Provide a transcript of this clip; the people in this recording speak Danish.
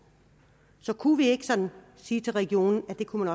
så kunne vi ikke sådan sige til regionen at det kunne